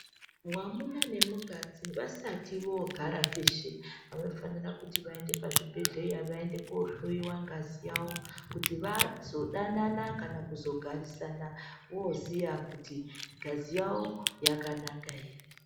Mwamuna nemukadzi vasati voogara veshe vanofanira kuti vaende pazvibhehleya vaende koohloiwa ngazi yawo kuti vazodanana kana kuzogarisana vooziya kuti ngazi yawo yakanaka here.